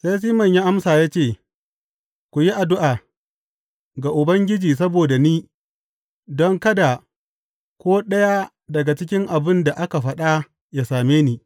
Sai Siman ya amsa ya ce, Ku yi addu’a ga Ubangiji saboda ni don kada ko ɗaya daga cikin abin da ka faɗa ya same ni.